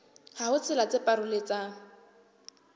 ha ho tsela tse paroletsang